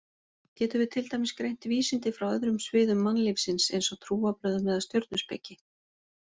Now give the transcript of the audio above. Getum við til dæmis greint vísindi frá öðrum sviðum mannlífsins eins og trúarbrögðum eða stjörnuspeki?